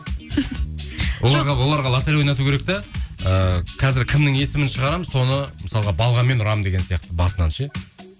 оларға лоторей ойнату керек те ііі қазір кімнің есімін шығарамыз соны мысалға балғамен ұрамын деген сияқты басынан ше